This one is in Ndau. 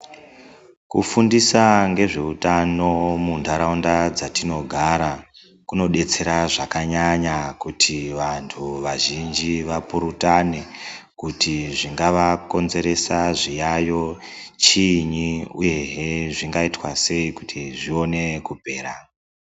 Kufundisa ngezveutano muntaraunda dzatinogara kunodetsera zvakanyanya kuti vantu vazhinji vapurutane kuti zvingavakonzeresa zviyayo chiinyi uyehe zvingaitwa sei kuti zvione kupera.